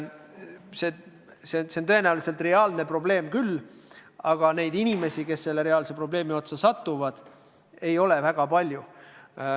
See probleem on tõenäoliselt reaalne küll, aga neid inimesi, kes selle reaalse probleemi otsa satuvad, ei ole väga palju.